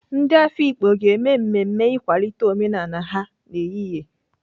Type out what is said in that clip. Ndị Afikpo ga-eme mmemme ịkwalite omenala ha n'ehihie.